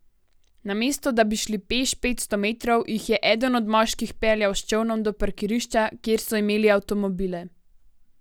Namesto da bi šli peš petsto metrov, jih je eden od moških peljal s čolnom do parkirišča, kjer so imeli avtomobile.